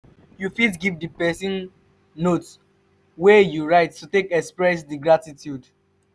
you fit give di person note wey you write to take express di gratitude